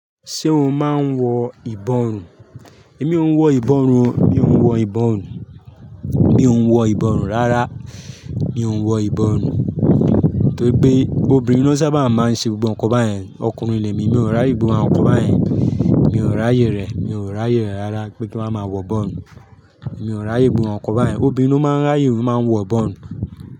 Ṣé o máa ń wọ ìbọrùn? Èmi ò ń wọ ìbọrùn o, mi ò ń wọ ìbọrùn, mi ò ń wọ ìbọrùn rárá. Mi ò ń wọ ìbọrùn, torí pé obìnrin ló sábà máa ń ṣe gbogbo ǹkan báyẹn. Ọkùnrin lèmi, mi ò rí ìbọrùn àwọn ọkọ báyẹn, mi ò ráyè rẹ̀, mi ò ráyè rẹ̀ rárá pé kí wọ́n máa wọ ìbọrùn. Mi ò raye gbogbo àwọn nkan báyẹn. Obìnrin ló máa ń ráyè lo máa nwọ ìbọrùn.